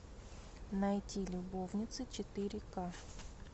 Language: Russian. найти любовницы четыре ка